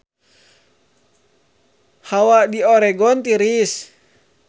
Hawa di Oregon tiris